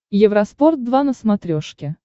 евроспорт два на смотрешке